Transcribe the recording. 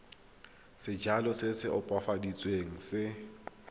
sejalo se se opafaditsweng se